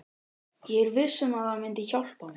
Ég er viss um að það myndi hjálpa mér.